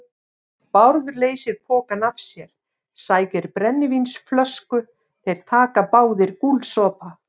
Bárður leysir pokann af sér, sækir brennivínsflösku, þeir taka báðir gúlsopa.